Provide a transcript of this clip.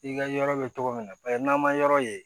I ka yɔrɔ bɛ cogo min na paseke n'an ma yɔrɔ ye